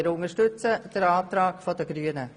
Wir unterstützen den Antrag der Grünen.